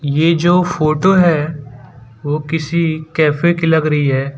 ये जो फोटो है वो किसी कैफे की लग रही है।